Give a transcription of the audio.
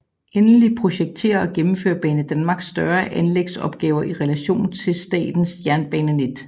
Endeligt projekterer og gennemfører Banedanmark større anlægsopgaver i relation til statens jernbanenet